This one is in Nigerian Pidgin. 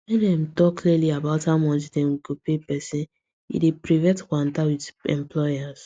when dem talk clearly about how much dem go pay person e dey prevent kwanta with employers